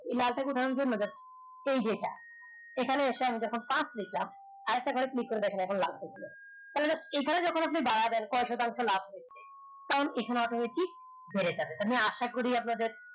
এই যে এটা এখানে এসে আমি যখন পাঁচ লেখলাম আরেকটা ঘরে click করে তাইলে এই খানে যখন আপনি কয় শতাংস লাভ হয়ছে কারন এখনে automatic আশা করি আপনাদের